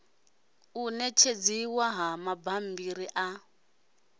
u netshedziwa ha mabambiri a